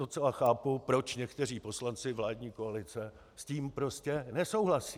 Docela chápu, proč někteří poslanci vládní koalice s tím prostě nesouhlasí.